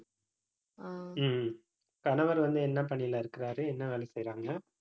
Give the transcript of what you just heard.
ஹம் கணவர் வந்து, என்ன பணியிலே இருக்கிறாரு என்ன வேலை செய்யறாங்க